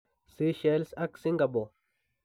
Sychelles ak singapore.